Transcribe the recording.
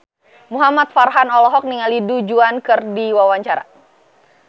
Muhamad Farhan olohok ningali Du Juan keur diwawancara